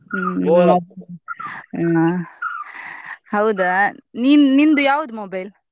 ಹ್ಮ್‌ ಹೌದಾ ನೀನ್ ನಿಂದ್ ಯಾವ್ದು mobile ?